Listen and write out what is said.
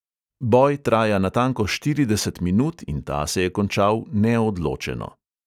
Boj traja natanko štirideset minut in ta se je končal neodločeno.